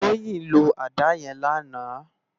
Toyin ló àdá yèn làná